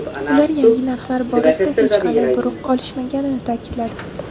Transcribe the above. Ular yangi narxlar borasida hech qanday buyruq olishmaganini ta’kidladi .